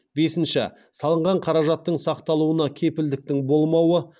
бесінші салынған қаражаттың сақталуына кепілдіктің болмауы